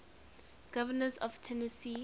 governors of tennessee